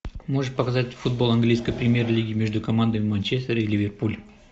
можешь показать футбол английской премьер лиги между командами манчестер и ливерпуль